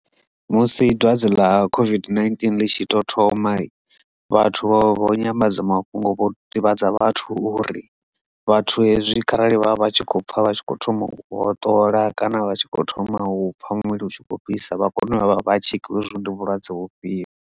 Musi dwadze ḽa COVID-19 ḽi tshi tou thoma vhathu vha vha vho nyanḓadzamafhungo vho ḓivhadza vhathu uri vhathu hezwi kharali vha vha tshi khou pfha vha tshi kho thoma u hoṱola kana vha tshi kho thoma u pfha muvhili u tshi kho fhisa vha kone uya vha vha tshekhiwe hezwo ndi vhulwadze vhufhio.